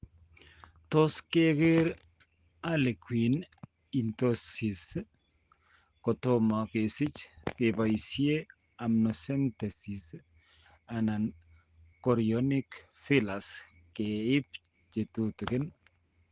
Tos' keker harlequin ichthyosis kotomo kesich keboisie amniocentesis anan chorionic villus ke ib chetutugin.